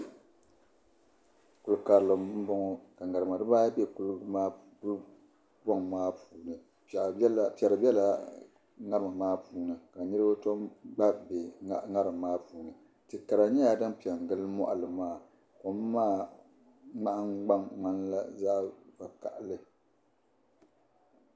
Kuli karili n boŋo ka ŋarima dibaayi nyɛ din bɛ kuli boŋ maa puuni piɛri biɛla ŋarima maa puuni ka niraba gba bɛ ŋarim maa puuni ti kara nyɛla din piɛ n gili moɣali ŋo kom maa nahangbaŋ ŋmanila zaɣ vakaɣali